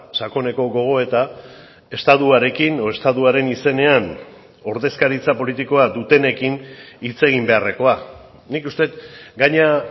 sakoneko gogoeta estatuarekin edo estatuaren izenean ordezkaritza politikoa dutenekin hitz egin beharrekoa nik uste dut gainera